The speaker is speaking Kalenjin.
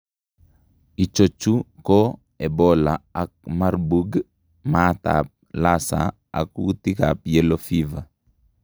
Ichochu koo ebola ak marburg, maat ab lassa ak kuutik ab yellow fever